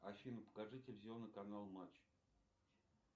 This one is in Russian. афина покажи телевизионный канал матч